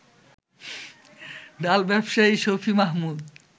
ডাল ব্যবসায়ী শফি মাহমুদ